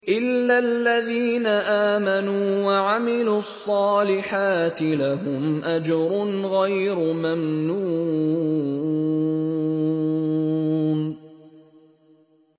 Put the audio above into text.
إِلَّا الَّذِينَ آمَنُوا وَعَمِلُوا الصَّالِحَاتِ لَهُمْ أَجْرٌ غَيْرُ مَمْنُونٍ